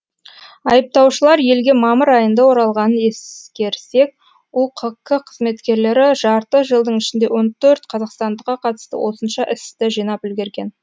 айыптаушылар елге мамыр айында оралғанын ескерсек ұқк қызметкерлері жарты жылдың ішінде он төрт қазақстандыққа қатысты осынша істі жинап үлгерген